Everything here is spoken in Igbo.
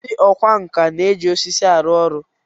Ndị ọkwá nkà na-eji osisi arụ ọrụ